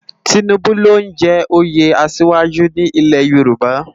Tinubu ló n jè óyé àṣiwájú ni ilè Yoruba